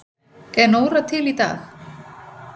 Er Nóra til í dag?